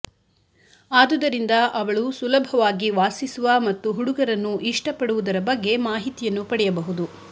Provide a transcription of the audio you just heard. ಆದುದರಿಂದ ಅವಳು ಸುಲಭವಾಗಿ ವಾಸಿಸುವ ಮತ್ತು ಹುಡುಗರನ್ನು ಇಷ್ಟಪಡುವದರ ಬಗ್ಗೆ ಮಾಹಿತಿಯನ್ನು ಪಡೆಯಬಹುದು